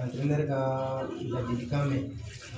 Ka ne yɛrɛ ka ladilikan mɛn